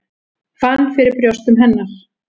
Fann fyrir brjóstum hennar.